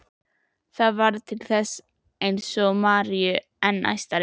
Það varð til þess eins að gera Maríu enn æstari.